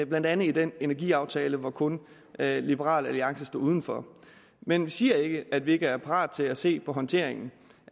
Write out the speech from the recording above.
blandt andet i den energiaftale hvor kun liberal alliances stod uden for men vi siger ikke at vi ikke er parat til at se på håndteringen